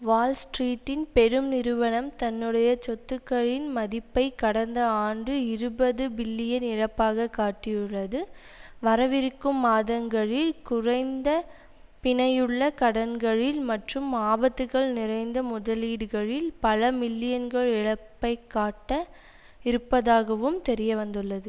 வால் ஸ்ட்ரீட்டின் பெரும் நிறுவனம் தன்னுடைய சொத்துக்களின் மதிப்பை கடந்த ஆண்டு இருபது பில்லியன் இழப்பாக காட்டியுள்ளது வரவிருக்கும் மாதங்களில் குறைந்த பிணையுள்ள கடன்களில் மற்றும் ஆபத்துக்கள் நிறைந்த முதலீடுகளில் பல மில்லியன்கள் இழப்பை காட்ட இருப்பதாகவும் தெரிய வந்துள்ளது